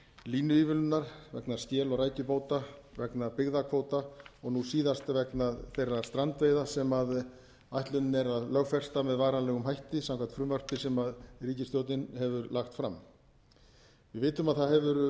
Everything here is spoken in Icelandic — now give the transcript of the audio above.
línuívilnunar vegna skel og rækjubáta vegna byggðakvóta og nú síðast vegna þeirra strandveiða sem ætlunin er að lögfesta með varanlegum hætti samkvæmt frumvarpi sem ríkisstjórnin hefur lagt fram við vitum að það hefur